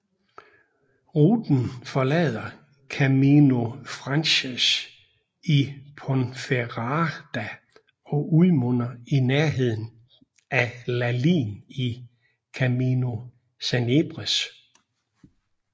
Ruten forlader Camino Francés i Ponferrada og udmunder i nærheden af Lalín i Camino Sanabrés